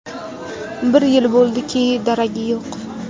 Bir yil bo‘ldiki, daragi yo‘q.